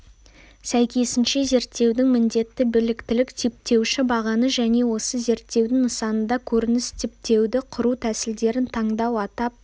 сәйкесінше зерттеудің міндеті біліктілік-типтеуші бағаны және осы зерттеудің нысанында көрініс типтеуді құру тәсілдерін таңдау атап